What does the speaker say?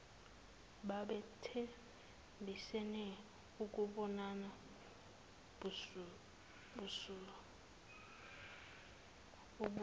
babethembisene ukubonana ubuso